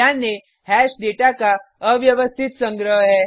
ध्यान दें hash data का अव्यवस्थित संग्रह है